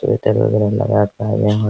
sweater वैगेरा लगा के आ गए हैं |